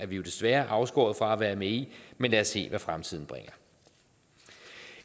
vi desværre afskåret fra at være med i men lad os se hvad fremtiden bringer